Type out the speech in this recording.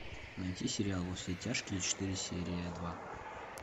найти сериал во все тяжкие четыре серия два